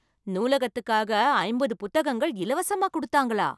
நூலகத்துக்காக ஐம்பது புத்தகங்கள் இலவசமாக குடுத்தாங்களா!